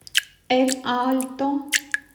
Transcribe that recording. эль альто